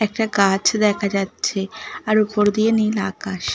একটা গাছ দেখা যাচ্ছে। আর ওপর দিয়ে নীল আকাশ।